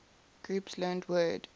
groups learned word